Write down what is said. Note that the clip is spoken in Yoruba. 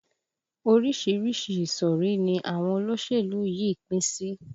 Orísìírísìí ìsọ̀rí ni àwọn olóṣèlú yìí pín sí